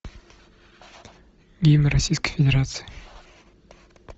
гимн российской федерации